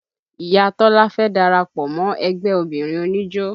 Iya Tọ́lá fẹ́ darapọ̀ mọ́ ẹgbẹ́ obìnrin oníjó